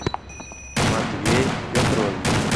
матвей петрович